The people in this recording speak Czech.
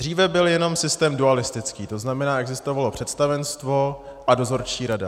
Dříve byl jenom systém dualistický, to znamená, existovalo představenstvo a dozorčí rada.